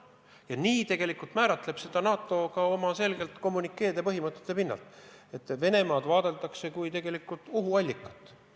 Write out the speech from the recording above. Ja nii määratleb seda ka NATO selgelt oma kommünikeedes: Venemaad vaadeldakse kui ohuallikat.